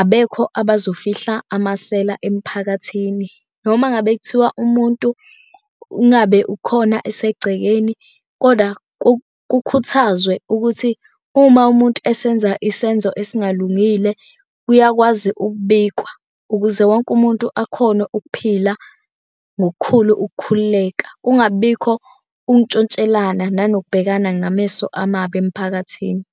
abekho abazofihla amasela emphakathini, noma ngabe kuthiwa umuntu, ungabe ukhona esegcekeni koda kukhuthazwe ukuthi uma umuntu esenza isenzo esingalungile, kuyakwazi ukubikwa, ukuze wonke umuntu akhone ukuphila ngokukhulu ukukhululeka. Kungabi bikho ukuntshontshelana nanokubhekana ngameso amabi emphakathini.